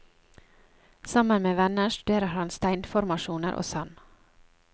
Sammen med venner studerer han steinformasjoner og sand.